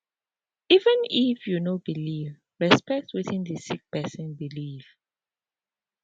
even if you no believe respect wetin d sick pesin believe